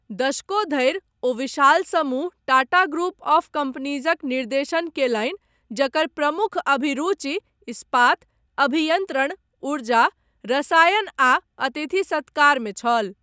दशको धरि, ओ विशाल समूह टाटा ग्रुप ऑफ कम्पनीजक निर्देशन कयलनि जकर प्रमुख अभिरुचि इस्पात, अभियन्त्रण, ऊर्जा, रसायन आ अतिथि सत्कारमे छल।